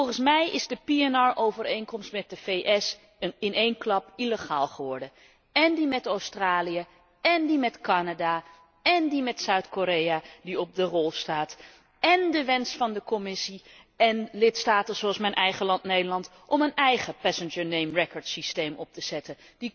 Volgens mij is de pnr overeenkomst met de VS in één klap illegaal geworden, én die met Australië, én die met Canada, én die met Zuid Korea, die op de rol staat, én de wens van de Commissie en lidstaten zoals mijn eigen land, Nederland, om een eigen passenger name record systeem op te zetten.